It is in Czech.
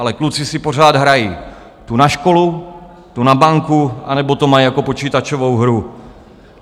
Ale kluci si pořád hrají, tu na školu, tu na banku, anebo to mají jako počítačovou hru.